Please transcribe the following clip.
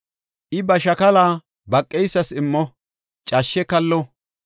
I ba shakala baqeysas immo; cashshe kallo.